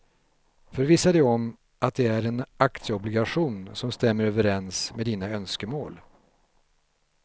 Förvissa dig om att det är en aktieobligation som stämmer överens med dina önskemål.